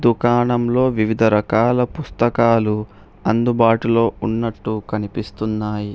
దుకాణంలో వివిధ రకాల పుస్తకాలు అందుబాటులో ఉన్నట్టు కనిపిస్తున్నాయి.